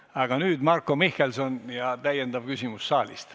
Aga nüüd Marko Mihkelsoni täiendav küsimus saalist.